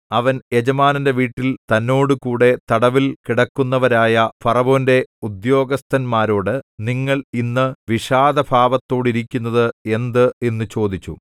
അവൻ യജമാനന്റെ വീട്ടിൽ തന്നോടുകൂടെ തടവിൽ കിടക്കുന്നവരായ ഫറവോന്റെ ഉദ്യോഗസ്ഥന്മാരോട് നിങ്ങൾ ഇന്ന് വിഷാദഭാവത്തോടിരിക്കുന്നത് എന്ത് എന്നു ചോദിച്ചു